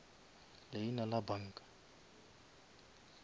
leina la banka